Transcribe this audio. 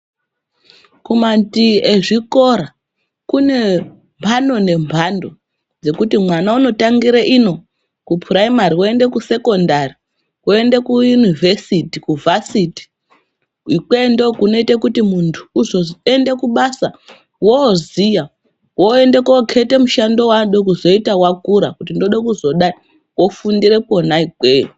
Kumandii kwezvikora kune mbando nembando dzekuti mwana unotangira ino kupuraimari oende kusekondari, oende kuyunivhesiti, kuya ndokunoite kuti muntu uzoende kubasa oziya, oende kuokirete mushando waanoda kuzoita zvakura kuti ndoda kuzodai ofundire kona ikweyo.